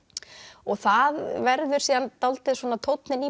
og það verður síðan dálítið tónninn í